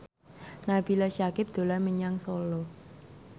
Nabila Syakieb dolan menyang Solo